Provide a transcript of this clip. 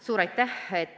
Suur aitäh!